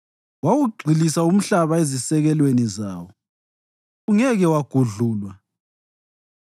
Wawugxilisa umhlaba ezisekelweni zawo; ungeke wagudlulwa.